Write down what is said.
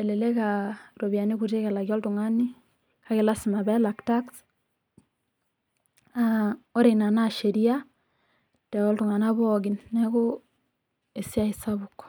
elelek aa iropiyiani kutik elaki oltung'ani, naa lasima peelak tax naa oreina naa sheriaa too ltung'ana pooki neeku esiaai sapuk.